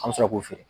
An bɛ sɔrɔ k'o feere